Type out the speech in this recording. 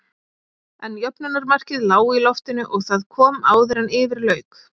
En jöfnunarmarkið lá í loftinu og það kom áður en yfir lauk.